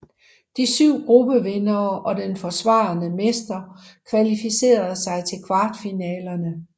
De syv gruppevindere og den forsvarende mester kvalificerer sig til kvartfinalerne